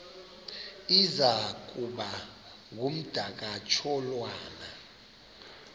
iza kuba ngumdakasholwana